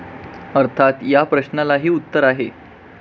अर्थात् या प्रश्नालाही उत्तर आहे.